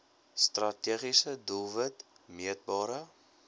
strategiese doelwit meetbare